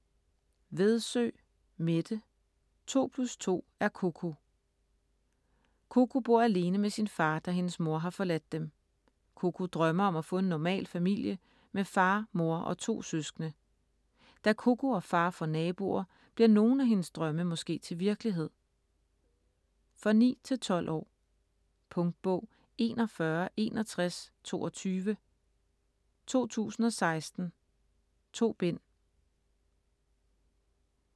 Vedsø, Mette: To plus to er Koko Koko bor alene med sin far, da hendes mor har forladt dem. Koko drømmer om at få en normal familie med far, mor og to søskende. Da Koko og far får naboer, bliver nogle af hendes drømme måske til virkelighed? For 9-12 år. Punktbog 416122 2016. 2 bind.